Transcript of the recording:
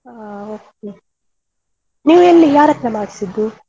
ಹಾ okay ನೀನು ಎಲ್ಲಿ ಯಾರತ್ರ ಮಾಡಿಸಿದ್ದು?